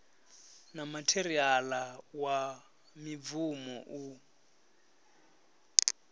na matheriala wa mibvumo u